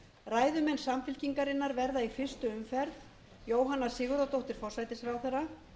ræðumenn samfylkingarinnar verða í fyrstu umferð jóhanna sigurðardóttir forsætisráðherra